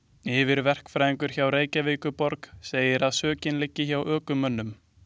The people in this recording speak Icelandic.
Yfirverkfræðingur hjá Reykjavíkurborg segir að sökin liggi hjá ökumönnum.